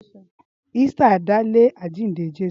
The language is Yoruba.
Ísítà dá lé àjíǹde Jésù.